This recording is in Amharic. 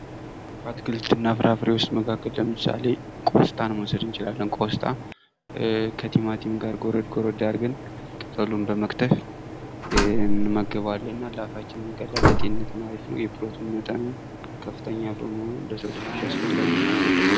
ከአትክልትና ፍራፍሬዎች መካከል ለምሳሌ ቆስጣን መውሰድ እንችላለን ቆስጣ ከቲማቲም ጋር ጎረድ ጎረድ አርገን ቅጠሉን በመክተፍ እንመገበዋለን ለአፋችንም ቀላል በመሆኑ ለጤንነትም አሪፍ ነው የፕሮቲን መጠኑም ከፍተኛ በመሆኑ ለሰው ልጆች አስፈላጊ ነው።